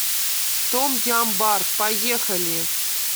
том ям бар поехали